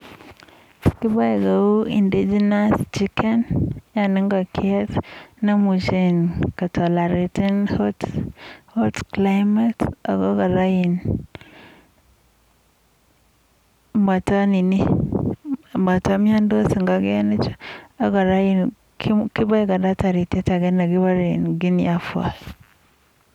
kifukani ngokaik che indegenous chemuch kosapcha ing le lalang ako mataimnyantos ngokaik kefukani ako taritiet ake nekikure guenie fall